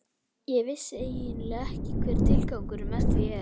Ég vissi eiginlega ekki hver tilgangurinn með því er.